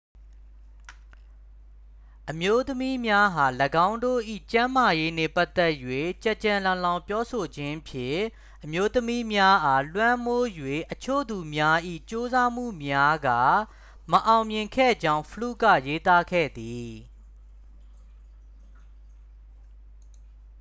အမျိုးသမီးများအား ၎င်းတို့၏ ကျန်းမာရေးနှင့် ပတ်သက်၍ ကျယ်ကျယ်လောင်လောင်ပြောဆိုခြင်းဖြင့် အမျိုးသမီးများအား လွှမ်းမိုးရန် အချို့သူများ၏ ကြိုးစားမှုများက မအောင်မြင်ခဲ့ကြောင်း fluke က ရေးသားခဲ့သည်